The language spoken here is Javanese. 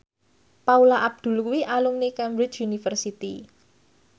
Paula Abdul kuwi alumni Cambridge University